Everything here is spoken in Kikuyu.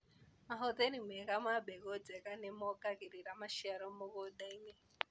Mahũthĩri mega ma mbegũ njega nĩmongagĩrĩra maciaro mũgundainĩ.